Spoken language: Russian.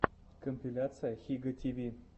компиляция хига ти ви